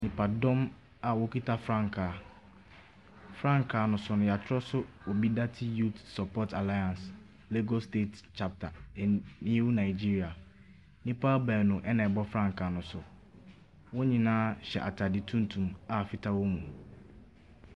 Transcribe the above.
Nipadɔm a wɔkita frankaa. Frankaa no so no, wɔatwerɛ so OBIDATI YPUTH SUPPORT ALLIANCE, EBO STATE CHAPTER IN NEW NIGERIA. Nnipa baanu na wɔbɔ frankaa no so. Wɔn nyinaa hyɛ atadeɛ tuntum a fitaa wɔ mu.